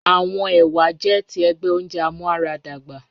Awọn ewa jẹ ti ẹgbẹ ounjẹ amuaradagba